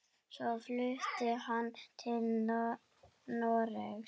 Svo flutti hann til Noregs.